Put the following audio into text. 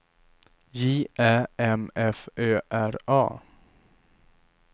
J Ä M F Ö R A